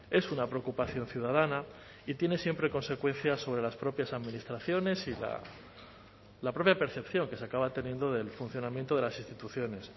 es una preocupación ciudadana y tiene siempre consecuencias sobre las propias administraciones y la propia percepción que se acaba teniendo del funcionamiento de las instituciones